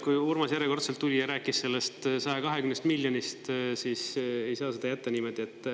Kui Urmas järjekordselt tuli ja rääkis sellest 120 miljonist, siis ei saa seda jätta niimoodi.